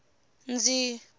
ndzi